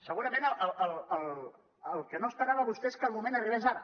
segurament el que no esperava vostè és que el moment arribés ara